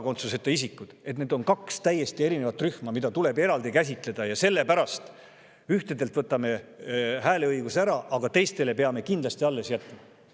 et need kaks rühma on täiesti erinevad ja neid tuleb eraldi käsitleda ja sellepärast ühtedelt hääleõigus ära võtta ja teistele peab selle kindlasti alles jätma.